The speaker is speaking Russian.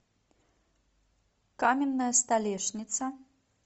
каменная столешница